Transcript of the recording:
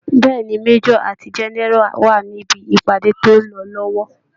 Bẹ́ẹ̀ ni, Major ati General wa níbi ìpàdé tó ń lọ lọ́wọ́